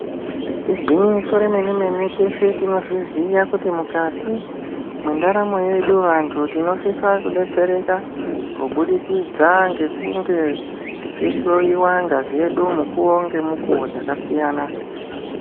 Igwinyiso remene mene teshe tinozviziya kuti mukati mwendaramo yedu vantu tinosisa kudetsereka kubudikidza ngekunge tichihloyiwa ngazi yedu munguwa dzakasiyana.